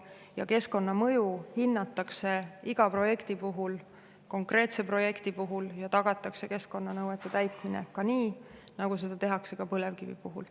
Ja keskkonnamõju hinnatakse iga konkreetse projekti puhul ja tagatakse keskkonnanõuete täitmine, nii nagu seda tehakse ka põlevkivi puhul.